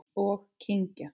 Og kyngja.